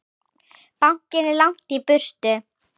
Bankinn er langt í burtu.